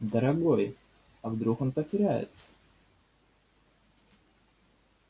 дорогой а вдруг он потеряется